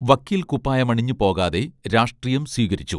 വക്കീൽക്കുപ്പായമണിഞ്ഞ് പോകാതെ രാഷ്ട്രീയം സ്വീകരിച്ചു